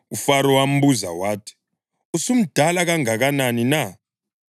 uFaro wambuza wathi, “Usumdala kangakanani na?”